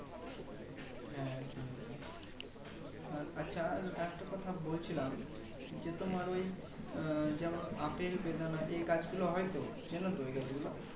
হ্যাঁ হ্যাঁ আচ্ছা আরেকটা কথা বলছিলাম যে তোমার ওই আহ যেমন আপেল বেদানা এই গাছ গুলো হয় তো চেনো তো এই গাছ গুলো